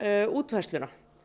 útfærsluna